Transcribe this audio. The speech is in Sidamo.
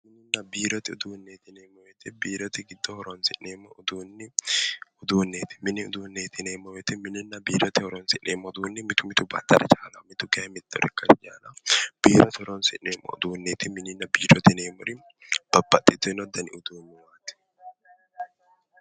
Biirote uduunneeti, biirote giddo horonsi'neemmo uduunni giddoonniiti. mini uduunne yineemmo woyiite biirote horonsi'neemmoha ikkanna baxxara chaalawo. kayii mittono ikkara dandawo biirote horonsineemmo yineemmori babbaxitinnote.